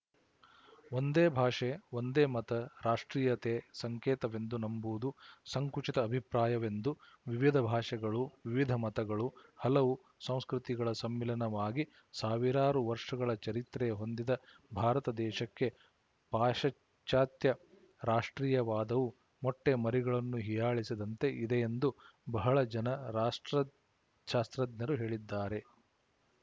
ಒಂದೇ ಭಾಷೆ ಒಂದೇ ಮತ ರಾಷ್ಟ್ರೀಯತೆ ಸಂಕೇತವೆಂದು ನಂಬುವುದು ಸಂಕುಚಿತ ಅಭಿಪ್ರಾಯವೆಂದು ವಿವಿಧ ಭಾಷೆಗಳು ವಿವಿಧ ಮತಗಳು ಹಲವು ಸಂಸ್ಕೃತಿ ಗಳ ಸಮ್ಮಿಲನವಾಗಿ ಸಾವಿರಾರು ವರ್ಶಗಳ ಚರಿತ್ರೆ ಹೊಂದಿದ ಭಾರತ ದೇಶಕ್ಕೆ ಪಾಶಚಾತ್ಯ ರಾಷ್ಟ್ರೀಯವಾದವು ಮೊಟ್ಟೆ ಮರಿಗಳನ್ನು ಹೀಯಾಳಿಸಿದಂತೆ ಇದೆಯೆಂದು ಬಹಳ ಜನ ರಾಷ್ಟ್ರ ಶಾಸ್ತ್ರಜ್ಞರು ಹೇಳಿದ್ದಾರೆ